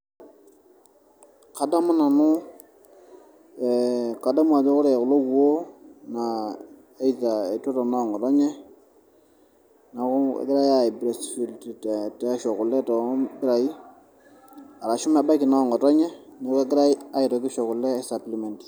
kadamu nanu, kadamu ajo ore kulo kuoo, naa either, etuata noo ng'otonye, neeku kegirae ai breastfeed aisho kule too mpirai, arashu mebaiki noo ngotonye neeku kegirae aitoki aisho kule ai supplement.